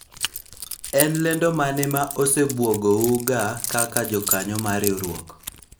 en lendo mane ma osebuogo u ga kaka jokanyo mar riwruok ?